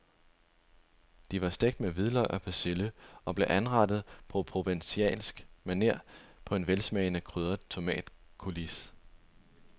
De var stegt med hvidløg og persille og blev anrettet på provencalsk maner på en velsmagende krydret tomatcoulis.